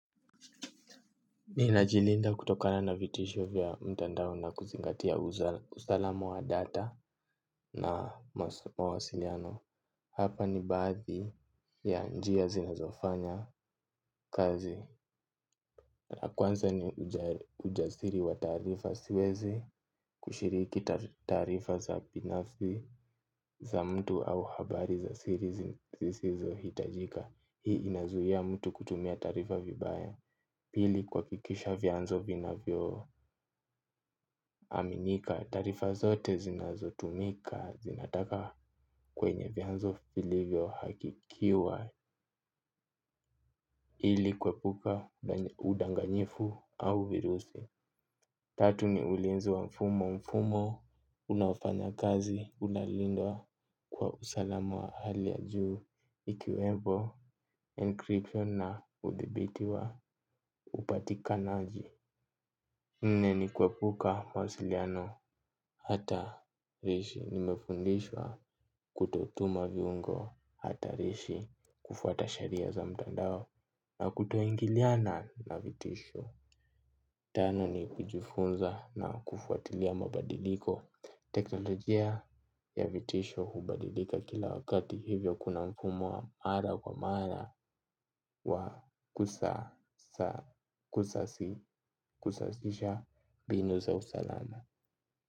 Ninajilinda kutokana na vitisho vya mtandao na kuzingatia usalama wa data na mawasiliano. Hapa ni baadhi ya njia zinazofanya kazi. Kwanza ni ujasiri wa taarifa siwezi kushiriki taarifa za binafsi za mtu au habari za siri zisizo hitajika. Hii inazuia mtu kutumia taarifa vibaya. Pili, kuhakikisha vyanzo vinavyo aminika. Taarifa zote zinazotumika zinataka kwenye vyanzo vilivyo hakikiwa. Hili kuepuka udanganyifu au virusi. Tatu ni ulinzi wa mfumo, mfumo unaofanya kazi, unalindwa kwa usalamu wa hali ya juu. Ikiwemo encryption na udhibiti wa upatikanaji. Nne ni kuepuka mawasiliano ata rishi. Nimefundishwa kutotuma viungo hatarishi kufwata sheria za mtandao na kutoingiliana na vitisho. Tano ni kujifunza na kufuatilia mabadiliko. Teknolojia ya vitisho hubadilika kila wakati, hivyo kuna mfumo wa mara kwa mara wa kusasisha mbinu za usalama.